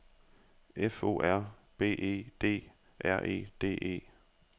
F O R B E D R E D E